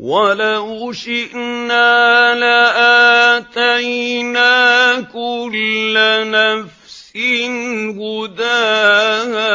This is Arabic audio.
وَلَوْ شِئْنَا لَآتَيْنَا كُلَّ نَفْسٍ هُدَاهَا